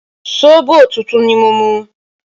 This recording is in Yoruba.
Sóbò tútù ni mo mú